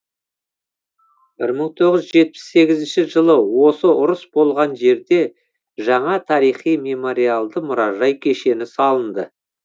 бір мың тоғыз жүз жетпіс сегізінші жылы осы ұрыс болған жерде жаңа тарихи мемориалды мұражай кешені салынды